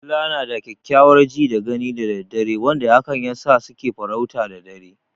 Dila na da kyakkyawar ji da gani da dare wanda hakan yasa su ke farauta da dare.